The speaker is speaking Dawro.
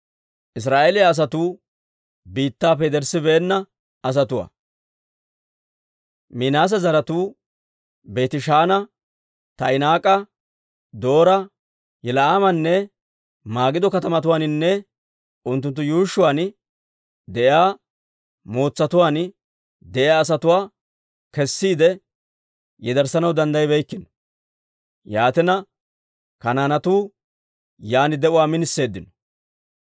Minaase zaratuu Beetishaana, Taa'inaaka, Doora, Yibila'aamanne Magido katamatuwaaninne unttunttu yuushshuwaan de'iyaa mootsatuwaan de'iyaa asatuwaa kessiide yederssanaw danddaybbeykkino. Yaatina, Kanaanetuu yaan de'uwaa miniseeddino.